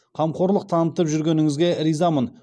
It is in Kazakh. қамқорлық танытып жүргеніңізге ризамын